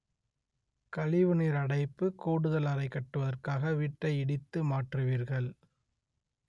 கழிவு நீர் அடைப்பு கூடுதல் அறை கட்டுவதற்காக வீட்டை இடித்து மாற்றுவீர்கள்